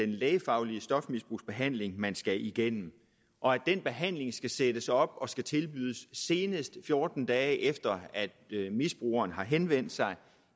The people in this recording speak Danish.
den lægefaglige stofmisbrugsbehandling man skal igennem og den behandling skal sættes op og tilbydes senest fjorten dage efter at misbrugeren har henvendt sig